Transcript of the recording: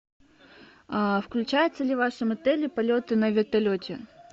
включаются ли в вашем отеле полеты на вертолете